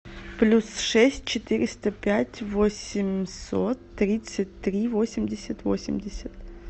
плюс шесть четыреста пять восемьсот тридцать три восемьдесят восемьдесят